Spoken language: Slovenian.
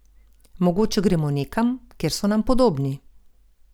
Mogoče gremo nekam, kjer so nam podobni.